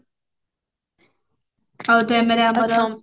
ଆଉ ତାପରେ ଆମର